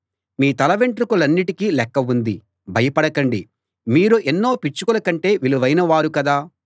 మీ తలవెంట్రుకలన్నిటికీ లెక్క ఉంది భయపడకండి మీరు ఎన్నో పిచ్చుకల కంటే విలువైన వారు కదా